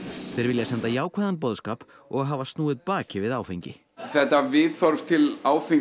þeir vilja senda jákvæðan boðskap og hafa snúið baki við áfengi þetta viðhorf til áfengis